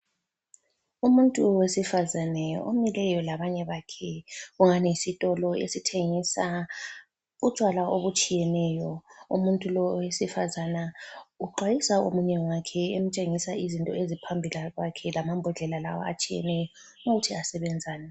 Umuntu wesifazane omileyo labanye bakhe. Kugani yisitolo esithengisa utshwala obutshiyeneyo. Umuntu lo owesifazana uxwayisa omunye wakhe emtshengisa izinto eziphambilikwakhe lamambodlela la atshiyeneyo ukuthi asebenzani.